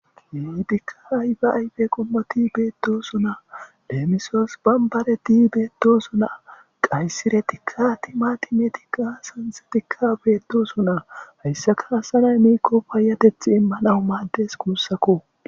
heitikka aybe aybe qommoti beettosu naa leemisos bambareti beettosu naa qayssire tikka ti ma timetikka sanse tikka beettosu naa hayssaka asanay miikko paayateth immanawu maaddes kuussakko